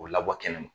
O labɔ kɛnɛ ma